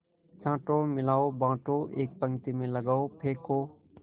छाँटो मिलाओ बाँटो एक पंक्ति में लगाओ फेंको